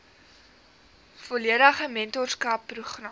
volledige mentorskap program